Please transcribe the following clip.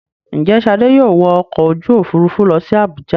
Ǹjẹ́ Ṣadé yóò wọ ọkọ̀-òfurufú lọ sí Àbújá.